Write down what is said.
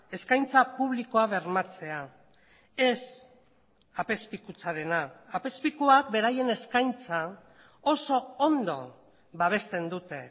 eskaintza publikoa bermatzea ez apezpikutzarena apezpikuak beraien eskaintza oso ondo babesten dute